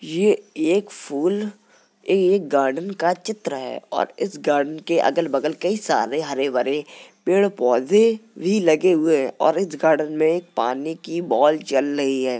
ये एक फूल ये एक गार्डन का चित्र है और इस गार्डन के अगल बगल कई सारे हरे भरे पेड़ पौधे भी लगे हुए है और इस गार्डन में पानी की बॉल चल रही है।